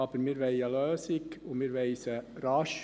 Aber wir wollen eine Lösung, und wir wollen sie rasch.